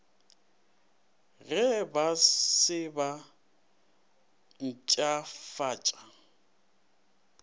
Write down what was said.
ge ba se ba mpshafatša